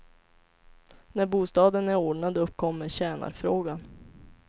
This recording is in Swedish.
När bostaden är ordnad uppkommer tjänarfrågan.